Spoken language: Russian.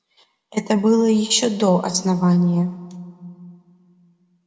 это было ещё до основания